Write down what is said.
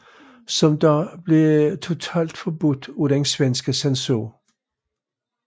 Som dog blev totalforbudt af den svenske censur